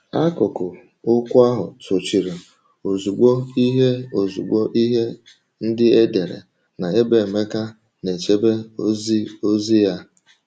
Akụkụ okwu ahụ sochiri ozugbo ihe ozugbo ihe ndị e dere na ebe Emeka na-echebe oziozi ya.